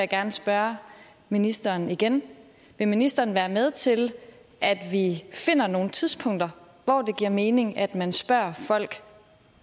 gerne spørge ministeren igen vil ministeren være med til at vi finder nogle tidspunkter hvor det giver mening at man spørger folk